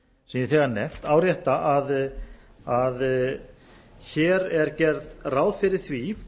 sem ég hef þegar nefnt árétta að hér er gert ráð fyrir því